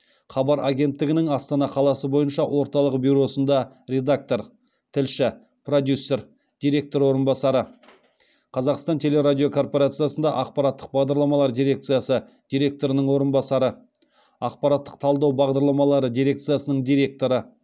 хабар агенттігінің астана қаласы бойынша орталық бюросында редактор тілші продюсер директор орынбасары қазақстан теле радио корпорациясында ақпараттық бағдарламалар дирекциясы директорының орынбасары ақпараттық талдау бағдарламалары дирекциясының директоры